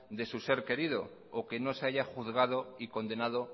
de su ser querido o que no se haya juzgado y condenado